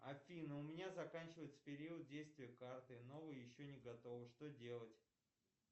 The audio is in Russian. афина у меня заканчивается период действия карты новая еще не готова что делать